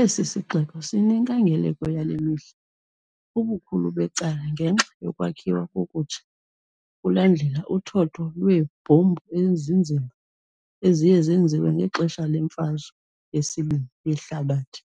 Esi sixeko sinenkangeleko yale mihla, ubukhulu becala ngenxa yokwakhiwa ngokutsha kulandela uthotho lweebhombu ezinzima eziye zenziwa ngexesha leMfazwe yeSibini yeHlabathi,